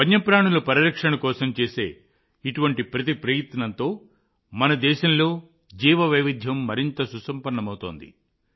వన్యప్రాణుల పరిరక్షణ కోసం చేసే ఇటువంటి ప్రతి ప్రయత్నంతో మన దేశంలోని జీవవైవిధ్యం మరింత సుసంపన్నమవుతోంది